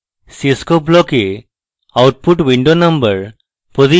cscope block এ output window number